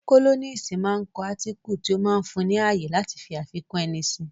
Kólọ́nisi máa ń kọ átíkù tí ó máa ń fún ni ní ààyè láti fi àfikún ẹni si